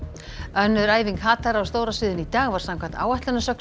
önnur æfing hatara á stóra sviðinu í dag var samkvæmt áætlun að sögn